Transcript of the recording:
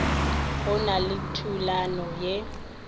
go na le thulano ye